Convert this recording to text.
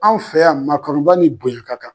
Anw fɛ yan maakanuba ni bonya ka kan